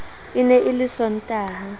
e ne e le disontaha